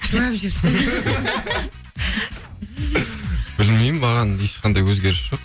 жылап жіберсейші білмеймін маған ешқандай өзгеріс жоқ